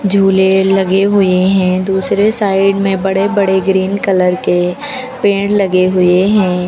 झूले लगे हुए हैं दूसरे साइड में बड़े बड़े ग्रीन कलर के पेड़ लगे हुए हैं।